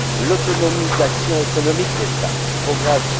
L'autonomisation économique des femmes progresse.